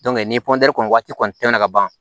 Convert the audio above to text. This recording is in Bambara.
ni kɔni waati kɔni tɛmɛna ka ban